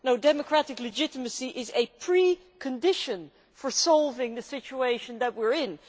No, democratic legitimacy is a precondition for solving the situation we are in.